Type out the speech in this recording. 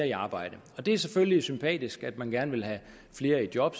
i arbejde det er selvfølgelig sympatisk at man gerne vil have flere i job